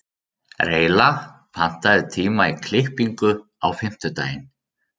Reyla, pantaðu tíma í klippingu á fimmtudaginn.